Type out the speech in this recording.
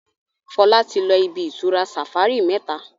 Fola tí lọ ibi-itura safari méta.